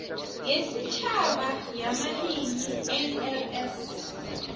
yesitjhaba yamalimi nls